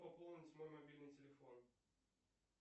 пополнить мой мобильный телефон